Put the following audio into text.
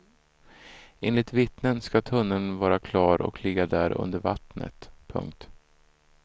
Enligt vittnen ska tunneln vara klar och ligga där under vattnet. punkt